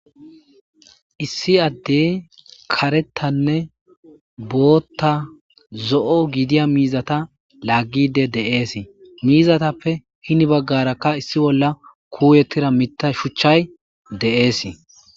issi addey karettanne bootta zo'o gidiya miizata laaggide dee'esii miizatappe hini baggarakka issi bolla kuuyettira mita shuchchay de'eesi